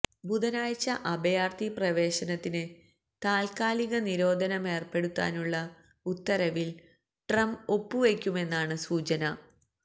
ബുധനാഴ്ച അഭയാര്ത്ഥി പ്രവേശനത്തിന് താല്ക്കാലിക നിരോധനമേര്പ്പെടുത്താനുള്ള ഉത്തരവില് ട്രംപ് ഒപ്പുവെയ്ക്കുമെന്നാണ് സൂചന